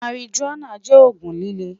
marijuana jẹ oogun lile